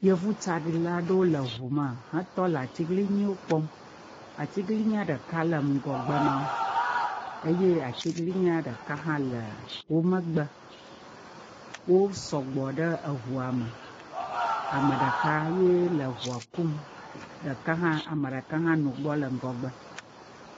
Yevutsaɖila aɖewo le ŋu me hetɔ le atiglinyiwo kpɔm. Atiglinyia ɖeka le ŋgɔgbe na wo eye atiglinyia ɖeka hã le wo megbe. Wo sɔgbɔ ɖe eŋua me. Ame ɖeka ye le eŋua kum ɖeka hã ame ɖeka hã nɔ egbɔ le ŋgɔgbe.